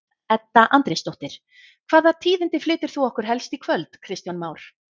Edda Andrésdóttir: Hvaða tíðindi flytur þú okkur helst í kvöld Kristján Már?